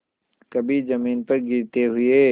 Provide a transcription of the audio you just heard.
कभी जमीन पर गिरते हुए